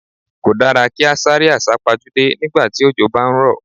Kò dára kí á sáré àsá pajúdé nígbà tí òjò bá ń rọ̀.